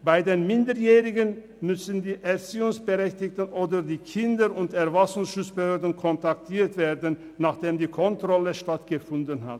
Bei Minderjährigen müssen die Erziehungsberechtigten oder die Kindes- und Erwachsenenschutzbehörden kontaktiert werden, nachdem die Kontrolle stattgefunden hat.